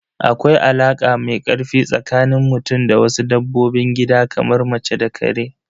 Akwai alaka mai ƙarfi tsakanin mutum da wasu dabbobin gidan kamar mace da ƙare.